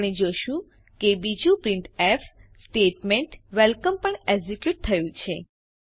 આપણે જોશું કે બીજું પ્રિન્ટફ સ્ટેટમેન્ટ વેલકમ પણ એકઝીક્યુટ થયું છે